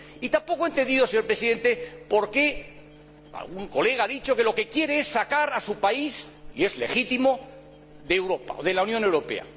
Tampoco entiendo, señor Presidente, por qué algún colega ha dicho que lo que quiere es sacar a su país —y es legítimo— de la Unión Europea.